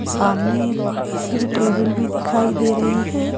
सामने एक बड़ी सी टेबल भी दिखाई दे रही है।